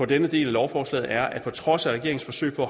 denne del af lovforslaget er at på trods af regeringens forsøg på